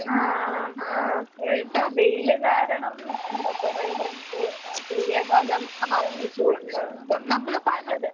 ആഹ് ആഹ് വെയില് കാരണം എന്താ കൊറേ പേർക്ക് ആഹ് സൂര്യാഖാതം ആഹ് ഏറ്റിട്ടൊണ്ട്. ഇപ്പം അത്